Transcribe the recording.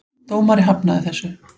Dómari hafnaði þessu.